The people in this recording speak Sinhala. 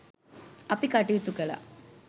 අපි කටයුතු කළා.